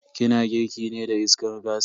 Ki na girki ne da iskar gas?